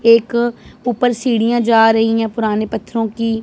एक ऊपर सीढ़ियां जा रही हैं पुराने पत्थरों की--